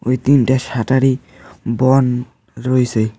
এই তিনটা শাটারই বন রয়েছে।